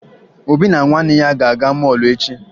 Obi na nwanne ya ga-aga mọọlụ echi